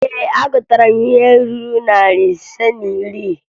Ee, agụtara m ihe ruru narị ise na iri.